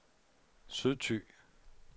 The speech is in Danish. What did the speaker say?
Sydthy